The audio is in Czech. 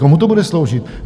Komu to bude sloužit?